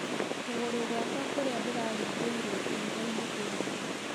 Kũgũrũgwakwa kũrĩa ndĩra rĩngĩrwo ihigainĩ kwĩna ruo